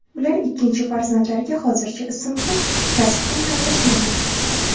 Ular ikkinchi farzandlariga hozircha ism ham, kasb ham tanlashmagan.